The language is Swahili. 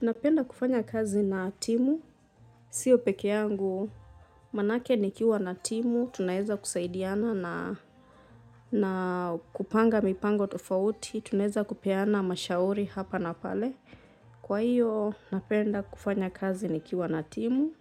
Napenda kufanya kazi na timu. Sio peke yangu, manake nikiwa na timu. Tunaeza kusaidiana na kupanga mipango tofauti. Tunaeza kupeana mashauri hapa na pale. Kwa hiyo, napenda kufanya kazi nikiwa na timu.